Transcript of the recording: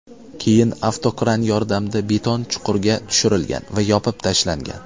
Keyin avtokran yordamida beton chuqurga tushirlgan va yopib tashlangan.